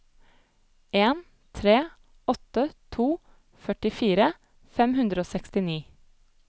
en tre åtte to førtifire fem hundre og sekstini